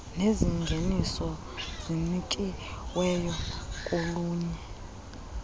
nezingeniso zinikiweyo kolunye